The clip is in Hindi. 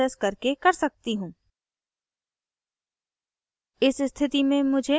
मैं ऐसा no प्रोसेस करके कर सकती हूँ